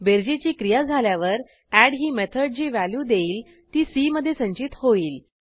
बेरजेची क्रिया झाल्यावर एड ही मेथड जी व्हॅल्यू देईल ती सी मधे संचित होईल